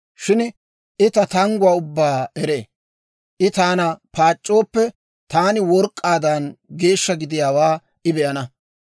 Shin I ta tangguwaa ubbaa eree; I taana paac'c'ooppe, taani work'k'aadan geeshsha gidiyaawaa I be'ana.